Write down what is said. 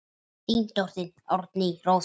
Þín dóttir Árný Rósa.